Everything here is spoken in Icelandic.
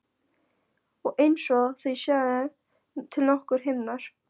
Og einsog það séu til nokkrir himnar.